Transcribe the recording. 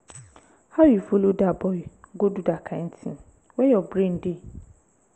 how you follow dat boy go do dat kin thing? where your brain dey?